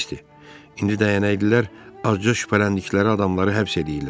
İndi dəyənəklilər azca şübhələndikləri adamları həbs eləyirlər.